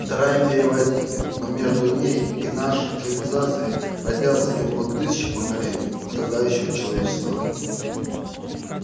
вторая империя возникнет но между ней и нашей цивилизацией родятся и умрут тысячи поколений страдающего человечества